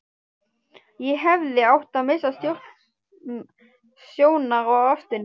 Ég hefði átt að missa sjónar á ástinni.